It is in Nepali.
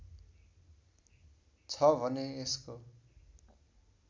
छ भने यसको